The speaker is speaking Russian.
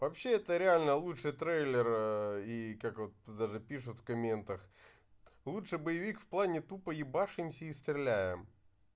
вообще это реально лучше трейлер ээ и как вот даже пишут в комментах лучший боевик в плане тупо ебашим их и стреляем